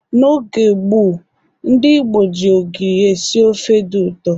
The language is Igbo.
N'oge gboo ndị Igbo ji ogiri esi ofe dị ụtọ.